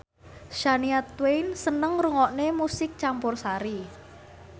Shania Twain seneng ngrungokne musik campursari